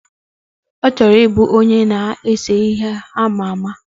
Ochoro ibu Onye na-ses ihe ama ama